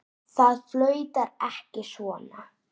Það flautar ekki svona.